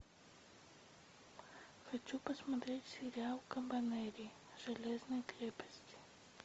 хочу посмотреть сериал кабанери железной крепости